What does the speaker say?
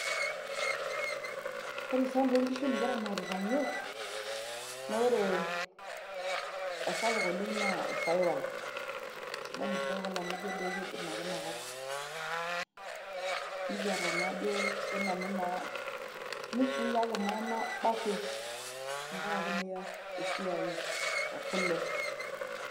Ore sambuu onkishu nikiramatita yiok naa ore esapuk oleng na isaipal. Isidain isaipal amuu ijo idimu ake ina kop. Nikiata naa ajo sii nanu nusui kake manaabo ake tenkaraki naa esiai ekule.